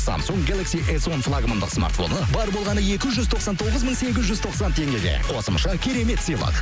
самсунг гелакси эс он флагмандық смартфоны бар болғаны екі жүз тоқсан тоғыз мың сегіз жүз тоқсан теңгеге қосымша керемет сыйлық